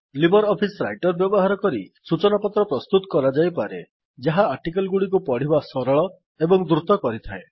Libre office Writer ବ୍ୟବହାର କରି ସୂଚନାପତ୍ର ପ୍ରସ୍ତୁତ କରାଯାଇପାରେ ଯାହା ଆର୍ଟିକିଲ୍ ଗୁଡ଼ିକୁ ପଢ଼ିବା ସରଳ ଏବଂ ଦ୍ରୁତ କରିଥାଏ